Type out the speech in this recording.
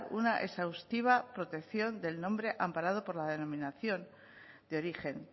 una exhaustiva protección del nombre amparado por la denominación de origen